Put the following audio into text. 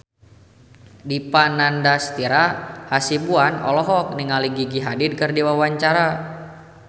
Dipa Nandastyra Hasibuan olohok ningali Gigi Hadid keur diwawancara